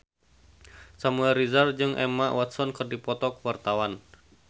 Samuel Rizal jeung Emma Watson keur dipoto ku wartawan